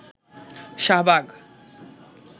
Shahbag